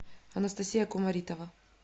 анастасия кумаритова